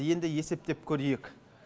енді есептеп көрейік